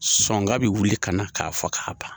Sɔnga bi wuli ka na k'a fɔ k'a ban